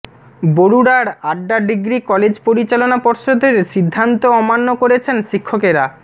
বরুড়ার আড্ডা degree college পরিচালনা পর্ষদের সিদ্ধান্ত অমান্য করছেন শিক্ষকেরা